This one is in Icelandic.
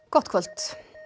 gott kvöld